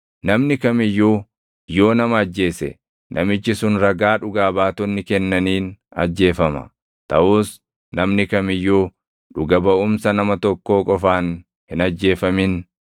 “ ‘Namni kam iyyuu yoo nama ajjeese namichi sun ragaa dhugaa baatonni kennaniin ajjeefama. Taʼus namni kam iyyuu dhuga baʼumsa nama tokkoo qofaan hin ajjeefamin.